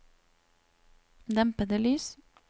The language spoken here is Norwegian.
dempede lys